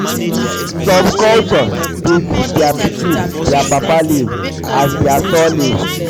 um some culture culture de give their pikin their papa name as their surname